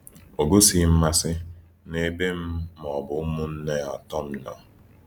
Ọ gosighị mmasị n’ebe m ma ọ bụ ụmụnne atọ m nọ.